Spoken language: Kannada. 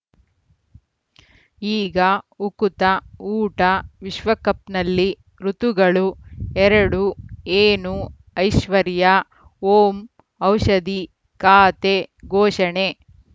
ಈಗ ಉಕುತ ಊಟ ವಿಶ್ವಕಪ್‌ನಲ್ಲಿ ಋತುಗಳು ಎರಡು ಏನು ಐಶ್ವರ್ಯಾ ಓಂ ಔಷಧಿ ಖಾತೆ ಘೋಷಣೆ